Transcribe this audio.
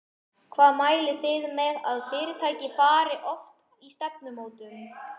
Hvað mælið þið með að fyrirtæki fari oft í stefnumótun?